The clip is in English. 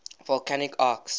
volcanic arcs